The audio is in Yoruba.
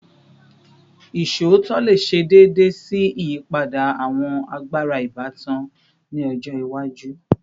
Iṣootọ le ṣe deede si iyipada awọn agbara ibatan ni ọjọ iwaju